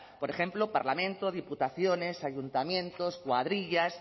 por ejemplo parlamento diputaciones ayuntamientos cuadrillas